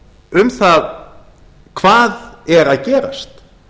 um það hvað er að gerast